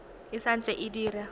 e sa ntse e dira